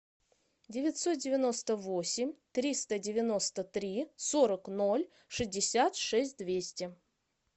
девятьсот девяносто восемь триста девяносто три сорок ноль шестьдесят шесть двести